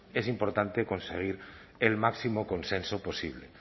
es importante conseguir el máximo consenso posible